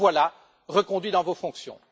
Vous voilà donc reconduit dans vos fonctions.